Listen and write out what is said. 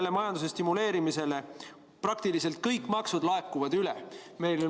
Tänu majanduse stimuleerimisele laekub praktiliselt kõiki makse rohkem.